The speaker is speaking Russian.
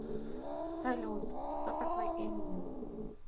салют кто такой эминем